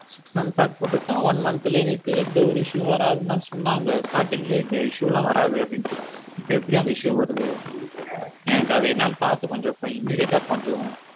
Six month போட்டு இருக்கோம் one month லே எங்களுக்கு எந்த ஒரு issue வாராதுன்னு சொன்னாங்க starting லே எந்த issue லாம் வராது அப்படினுட்டு இப்போ எப்படி அந்த issue வருது எனக்கு அது என்னான்னு பாத்து கொஞ்சம் immidiate கொஞ்சம்.